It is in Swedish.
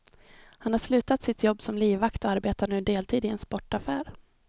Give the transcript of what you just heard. Han har slutat sitt jobb som livvakt och arbetar nu deltid i en sportaffär.